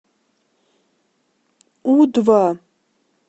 у два